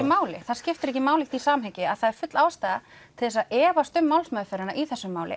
máli það skiptir ekki máli í því samhengi að það er full ástæða til þess að efast um málsmeðferðina í þessu máli